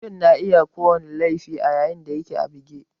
Mutum na iya yin ko wani irin laifi a yayin da yake a buge